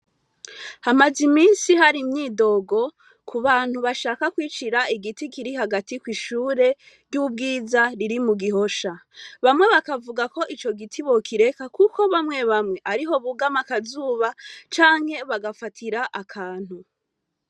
Hamaze imisi hari imyidogo ku bantu bashaka kwicira igiti kiri hagati ko'ishure ry'ubwiza riri mu gihosha bamwe bakavuga ko ico giti bokireka, kuko bamwe bamwe ariho bugama akazuba canke bagafatira akantu.